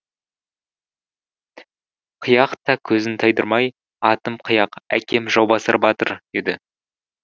қияқ та көзін тайдырмай атым қияқ әкем жаубасар батыр деді